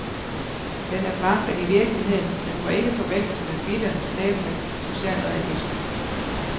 Den er forankret i virkeligheden, men må ikke forveksles med bitter, slæbende socialrealisme.